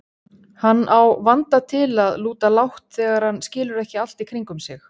Hann á vanda til að lúta lágt þegar hann skilur ekki allt í kringum sig.